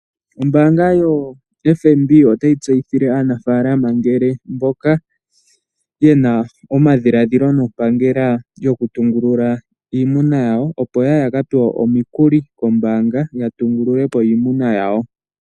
Ombaanga yo FNB otayi tseyithile aanafaalama ngele mboka yena omadhidhilo nompangela yoku tungulula iimuna yawo, opo yaye yaka tale omikuli kombaanga ya tungululepo iimuna yawo.